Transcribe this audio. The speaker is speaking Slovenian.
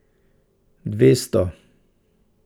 Dvesto?